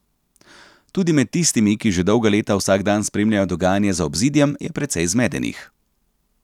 Tudi med tistimi, ki že dolga leta vsak dan spremljajo dogajanje za obzidjem, je precej zmedenih.